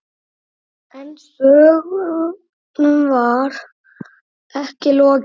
En sögnum var ekki lokið.